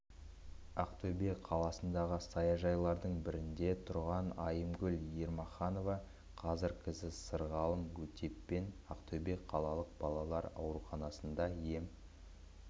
ақтөбе қаласындағы саяжайлардың бірінде тұрған айымгүл ермаханова қазір қызы сырғалым өтеппен ақтөбе қалалық балалар ауруханасында ем